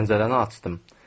Pəncərəni açdım.